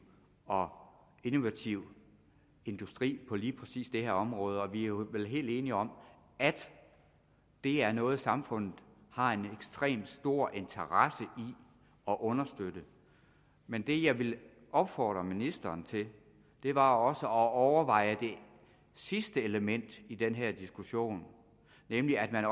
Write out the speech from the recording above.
og innovativ industri på lige præcis det her område og vi er vel helt enige om at det er noget samfundet har en ekstremt stor interesse i at understøtte men det jeg ville opfordre ministeren til var også at overveje det sidste element i den her diskussion nemlig at man